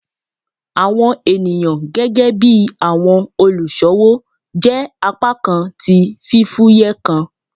Awọn eniyan gẹgẹbi awọn oluṣowo jẹ apakan ti fifuyẹ kan